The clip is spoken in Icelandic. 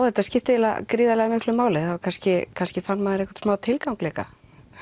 þetta skipti eiginlega gríðarlega miklu máli það var kannski kannski fann maður einhvern smá tilgang líka